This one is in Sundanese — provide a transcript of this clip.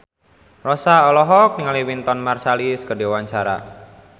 Rossa olohok ningali Wynton Marsalis keur diwawancara